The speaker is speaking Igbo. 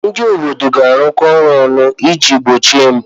Ndị obodo ga-arụkọ ọrụ ọnụ iji gbochie mpụ.